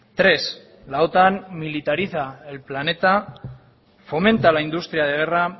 tres la otan militariza el planeta fomenta la industria de guerra